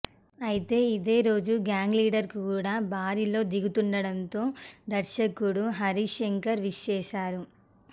అయితే ఇదే రోజు గ్యాంగ్ లీడర్ కూడా బరిలో దిగుతుండంతో దర్శకుడు హరీశ్ శంకర్ విష్ చేశారు